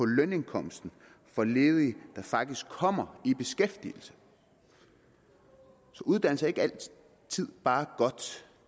lønindkomsten for ledige der faktisk kommer i beskæftigelse så uddannelse er ikke altid bare godt